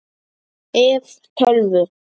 ef. tölvu